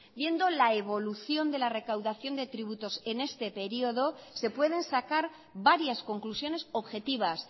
viendo la evolución de la recaudación de tributos en este periodo se pueden sacar varias conclusiones objetivas